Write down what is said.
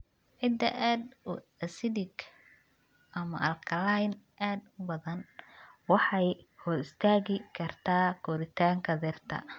Ciidda aad u acidic ama alkaliin aad u badan waxay hor istaagi kartaa koritaanka dhirta.